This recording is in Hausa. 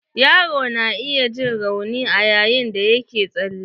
Yaro na iya jin rauni ayayin da yake tsale.